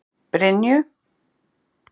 Brynju